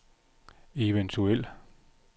eventuel